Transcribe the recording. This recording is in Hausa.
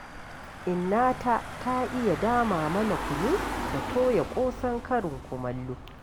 Innata ta iya dama mana kunu da toya ƙosan karin kumallo.